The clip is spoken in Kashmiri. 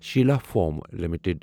Sheila foam limited